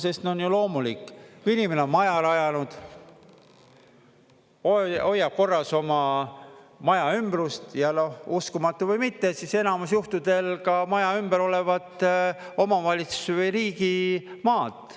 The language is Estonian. Sest on ju loomulik, kui inimene on maja rajanud, hoiab korras oma maja ümbrust, ja noh, uskumatu või mitte, siis enamus juhtudel ka maja ümber olevat omavalitsuse või riigi maad.